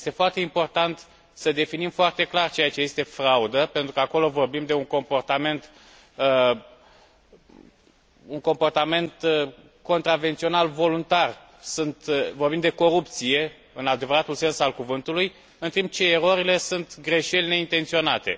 Este foarte important să definim foarte clar ceea ce este fraudă pentru că acolo vorbim de un comportament contravențional voluntar, vorbim de corupție în adevăratul sens al cuvântului, în timp ce erorile sunt greșeli neintenționate.